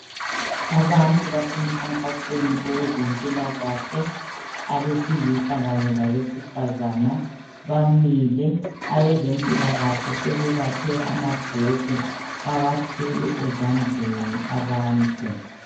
Abantu basemkhankasweni wezempilakahle abesilisa kanye labesifazana bamile abezempilakahle sebebaphe amabhuku bawathwele ezandleni abantu.